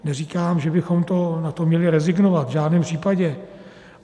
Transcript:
Neříkám, že bychom na to měli rezignovat, v žádném případě.